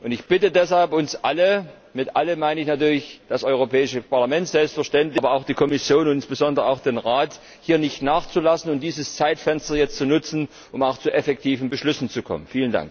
Ich bitte deshalb uns alle mit alle meine ich natürlich das Europäische Parlament, aber auch die Kommission und insbesondere auch den Rat hier nicht nachzulassen und dieses Zeitfenster jetzt zu nutzen, um auch zu effektiven Beschlüssen zu kommen.